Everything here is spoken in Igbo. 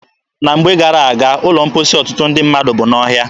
Na mgbe gara-aga, ụlọ mposi ọtụtụ ndị mmadụ bụ n'ọhịa.